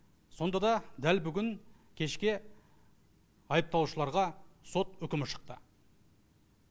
сонда да дәл бүгін кешке айыпталушыларға сот үкімі шықты